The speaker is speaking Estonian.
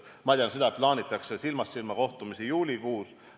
Ma tean seda, et plaanitakse silmast silmast kohtumisi juulikuus.